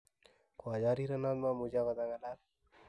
Ko a charirenot mamuch okot ang'alal